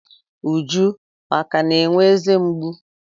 Uju akà na-enwe eze mgbu?